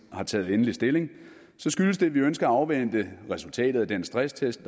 har taget endelig stilling skyldes det at vi ønsker at afvente resultatet af den stresstest af